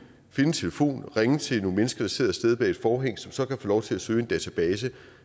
telefon ringe til nogle mennesker der sidder et sted bag et forhæng som så kan få lov til at søge i en database